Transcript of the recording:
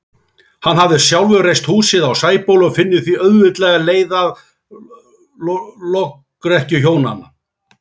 Hann hafði sjálfur reist húsið á Sæbóli og finnur því auðveldlega leið að lokrekkju hjónanna.